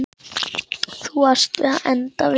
Þú varst að enda við.